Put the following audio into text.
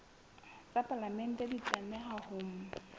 tsa palamente di tlameha ho